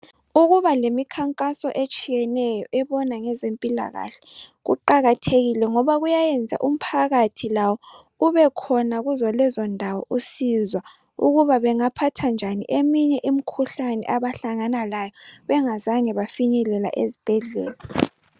Ukuba lemikhankaso etshiyeneyo ebona ngezempilakahle kuqakathekile ngoba kuyayenza umphakathi lawo ubekhona kuzolezo ndawo usizwa ukuba bengaphatha njani eminye imikhuhlane abahlangana layo bengazange bafinyelela ezibhedlela